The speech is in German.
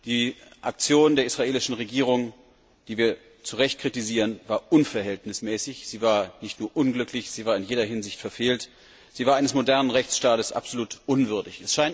Die Aktion der israelischen Regierung, die wir zu Recht kritisieren, war unverhältnismäßig, sie war nicht nur unglücklich, sie war in jeder Hinsicht verfehlt, sie war eines modernen Rechtsstaates absolut unwürdig.